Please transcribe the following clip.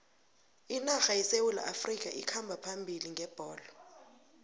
inarha yesewula afrikha ikhamba phambili ngebholo